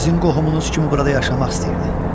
Sizin qohumunuz kimi burada yaşamaq istəyirdi.